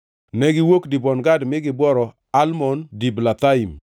Negiwuok Dibon Gad mi gibworo Almon Diblathaim.